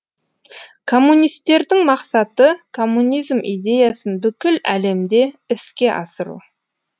коммунистердің мақсаты коммунизм идеясын бүкіл әлемде іске асыру